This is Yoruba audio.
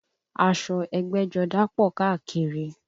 Aṣọ ẹgbẹ́jọdá pọ̀ káàkiri